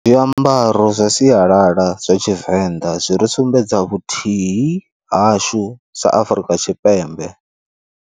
Zwiambaro zwa sialala zwa tshivenḓa zwi ri sumbedza vhuthii hashu sa Afrika Tshipembe.